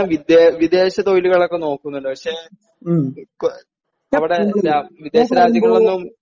വിദേ വിദേശ തൊഴിലുകളൊക്കെ നോക്കുന്നുണ്ട് പക്ഷേ അവിടെ വിദേശ രാജ്യങ്ങളിലൊന്നും